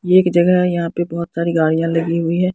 ये एक जगह यहां पे बहुत सारी गाडियाँ लगी हुई है।